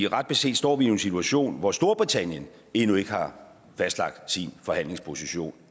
ret beset står vi i en situation hvor storbritannien endnu ikke har fastlagt sin forhandlingsposition